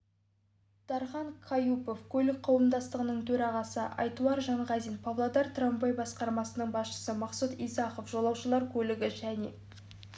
дархан каюпов көлік қауымдастығының төрағасы айтуар жанғазин павлодар трамвай басқармасының басшысы мақсұт исахов жолаушылар көлігі және